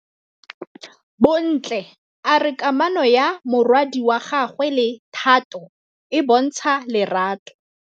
Bontle a re kamanô ya morwadi wa gagwe le Thato e bontsha lerato.